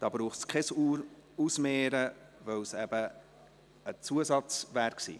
Hier braucht es kein Ausmehren, weil es eben ein Zusatz gewesen wäre.